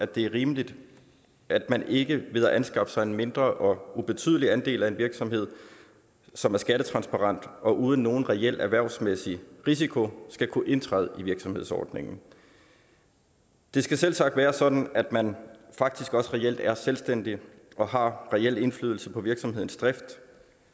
det er rimeligt at man ikke ved at anskaffe sig en mindre og ubetydelig andel af en virksomhed som er skattetransparent uden nogen reel erhvervsmæssig risiko skal kunne indtræde i virksomhedsordningen det skal selvsagt være sådan at man faktisk også reelt er selvstændig og har en reel indflydelse på virksomhedens drift